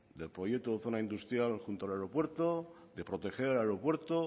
del proyecto de zona industrial junto al aeropuerto de proteger el aeropuerto